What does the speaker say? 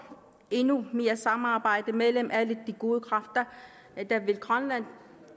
endnu mere samarbejde mellem alle de gode kræfter der vil grønland